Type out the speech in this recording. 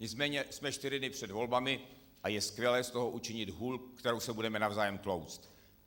Nicméně jsme čtyři dny před volbami a je skvělé z toho učinit hůl, kterou se budeme navzájem tlouct.